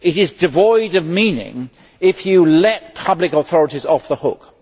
It is devoid of meaning if you let public authorities off the hook.